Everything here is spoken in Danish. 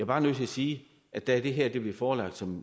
bare nødt til at sige at da det her blev forelagt som